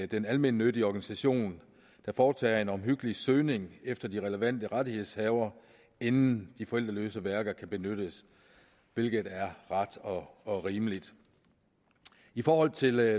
den almennyttige organisation der foretager en omhyggelig søgning efter de relevante rettighedshavere inden de forældreløse værker kan benyttes hvilket er ret og og rimeligt i forhold til